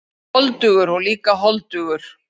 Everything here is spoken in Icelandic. Ég er voldugur og líka holdugur.